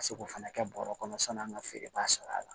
Ka se k'o fana kɛ bɔrɔ kɔnɔ san'an ka feereba sɔrɔ a la